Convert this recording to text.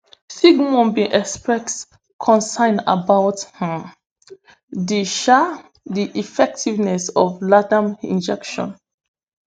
sigmon bin exprex concern about um di um di effectiveness of ladam injection